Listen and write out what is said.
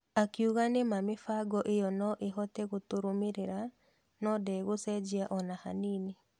Akiuga nĩ ma mĩbango ĩyo no ĩhote gũtũrũmĩrĩra no ndĩgũcenjia ona hanini.